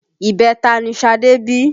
Ibẹta ni Ṣadé bí